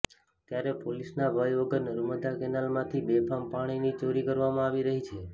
ત્યારે પોલીસના ભય વગર નર્મદા કેનાલમાંથી બેફામ પાણની ચોરી કરવામાં આવી રહી છે